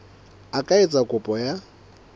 a ka etsa kopo ya